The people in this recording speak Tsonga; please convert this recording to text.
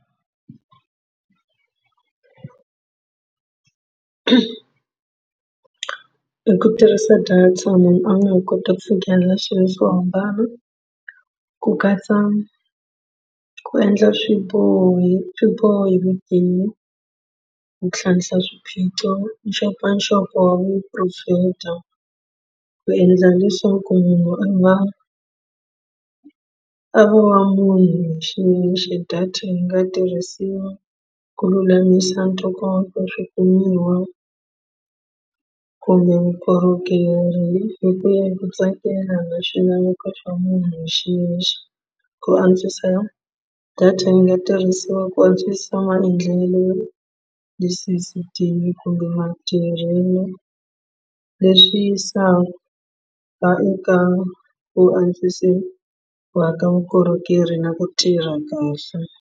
Hi ku tirhisa data munhu a nga ha kota ku fikelela swilo swo hambana ku katsa ku endla swiboho hi swibohi hi vutivi ku tlhantlha swiphiqo nxopanxopo wa vuporofeta ku endla leswaku munhu a nga a va munhu hi xiyexe data yi nga tirhisiwa ku lulamisa ntokoto swikumiwa kumbe vukorhokeri hi ku ya hi ku tsakela na swilaveko swa munhu hi xiyexe ku antswisa data yi nga tirhisiwa ku antswisa maendlelo tisisitimi kumbe matirhelo leswi ku antswisiwa ka vukorhokeri na ku tirha kahle.